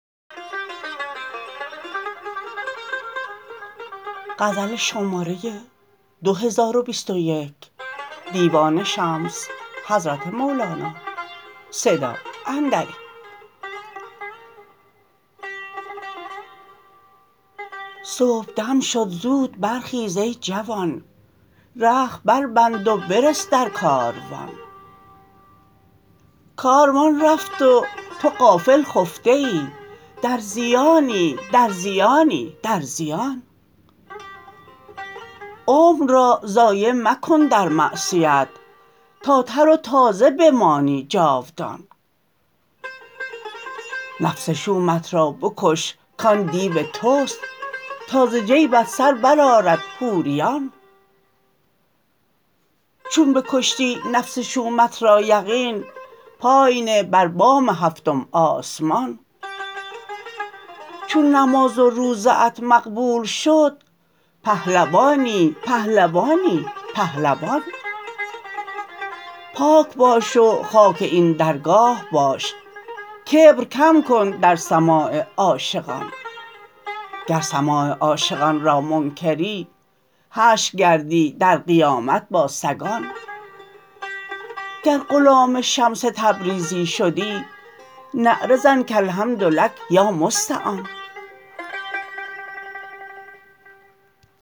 صبحدم شد زود برخیز ای جوان رخت بربند و برس در کاروان کاروان رفت و تو غافل خفته ای در زیانی در زیانی در زیان عمر را ضایع مکن در معصیت تا تر و تازه بمانی جاودان نفس شومت را بکش کان دیو توست تا ز جیبت سر برآرد حوریان چون بکشتی نفس شومت را یقین پای نه بر بام هفتم آسمان چون نماز و روزه ات مقبول شد پهلوانی پهلوانی پهلوان پاک باش و خاک این درگاه باش کبر کم کن در سماع عاشقان گر سماع عاشقان را منکری حشر گردی در قیامت با سگان گر غلام شمس تبریزی شدی نعره زن کالحمد لک یا مستعان